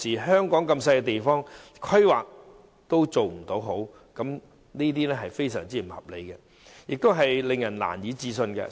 香港這麼小的地方，規劃都做得不好，實在非常不合理，亦令人難以置信。